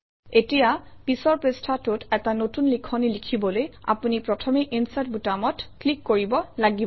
এতিয়া পিছৰ পৃষ্ঠাটোত এটা নতুন লিখনি লিখিবলৈ আপুনি প্ৰথমে ইনচাৰ্ট বুটামটোত ক্লিক কৰিব লাগিব